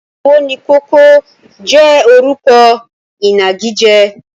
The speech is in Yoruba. Owónikókó jẹ́ orúkọ ìnagijẹ.